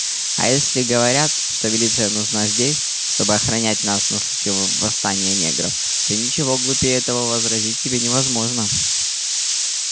а если говорят что милиция нужна здесь чтобы охранять нас на случай восстания негров то ничего глупее этого вообразить себе невозможно